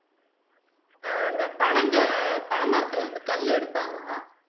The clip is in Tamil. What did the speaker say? ஆஹ் இந்த பனங்க பனைமரத்துல வந்து கல்லு எடுப்பாங்களா